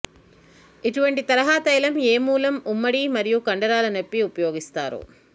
ఇటువంటి తరహా తైలం ఏ మూలం ఉమ్మడి మరియు కండరాల నొప్పి ఉపయోగిస్తారు